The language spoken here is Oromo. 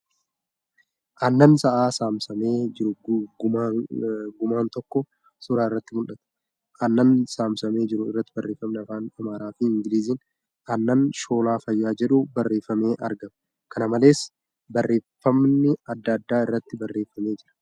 Aannan sa'aa saamsamee jiru gumaan tokko suura irratti mul'ata . Aanna saamsamee jiru irratti barreeffamni Afaan Amaaraa fi Ingiliiziin ' Aannan shoolaa Fayyaa ' jedhu barreeffamee argama. Kana malees, barreeffamni adda addaa irratti barreeffamee jira.